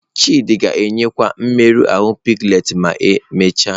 Chidi ga-eyikwa mmerụ ahụ piglets ma emechaa.